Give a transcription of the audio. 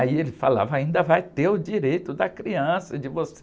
Aí ele falava, ainda vai ter o direito da criança, de você...